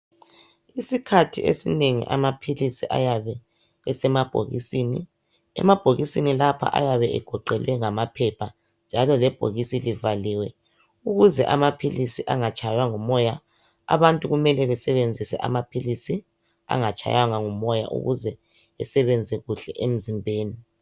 Isikhathi esinengi amaphilisi ayabe esemabhokisini, emabhokisini lapha ayebe egoqelwe ngamaphepha, njalo ibhokisi liyabe livaliwe, ukuze engatshaywa ngumoya. Abantu kumele basebenzise amaphilisi angatshaywanga ngumoya ukuze asebenze kuhle emzimbeni.